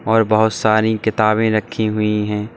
और बहोत सारी किताबें रखी हुई है।